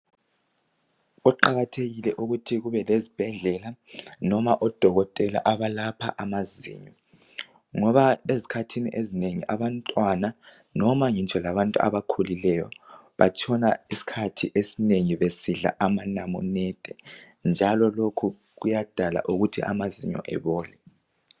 Kuqakathekile ukuthi kubelezibhedlela noma odokotela abalapha amazinyo ngoba ezikhathini ezinengi abantwana noma ngitsho labantu abakhulileyo batshona isikhathi esinengi besidla amanamunede njalo lokho kuyadala ukuthi amazinyo ebole